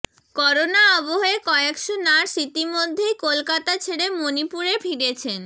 corona আবহে কয়েকশো nurse ইতিমধ্যেই কলকাতা ছেড়ে মনিপুরে ফিরেছেন